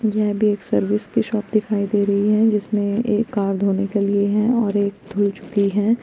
यह भी एक सर्विस की शॉप दिखाई दे रही है जिसमें एक कार धोने के लिए हैं और एक धुल चुकी है।